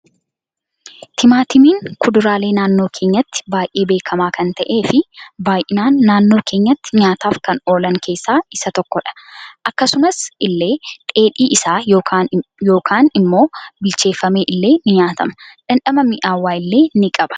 Timaatimiin kuduraalee naannoo keenyatti baay'ee beekama kan ta'e fi baay'inan naannoo keenyatti nyaataf kan oolan keessa isa tokkodha akkasumas ille dheedhii isaa yookan immoo bilcheefame illee ni nyaatama dhamdhama mi'aawaa illee ni qaba.